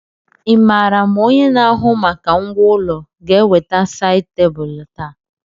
Ị maara ma onye na-ahụ maka ngwá ụlọ ga-eweta sáyid tebụlu taa?